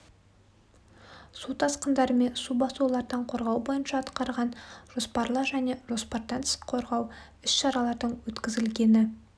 су тасқындары мен су басулардан қорғау бойынша атқарған жоспарлы және жоспардан тыс қорғау іс-шаралардың өткізілгені